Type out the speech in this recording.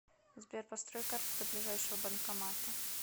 сбер построй карту до ближайшего банкомата